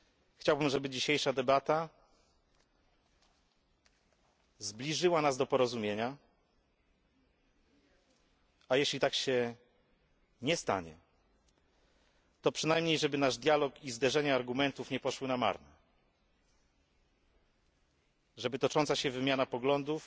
Chciałbym, żeby dzisiejsza debata zbliżyła nas do porozumienia, a jeśli tak się nie stanie, to przynajmniej, żeby nasz dialog i zderzenie argumentów nie poszły na marne, żeby tocząca się wymiana poglądów